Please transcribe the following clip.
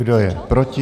Kdo je proti?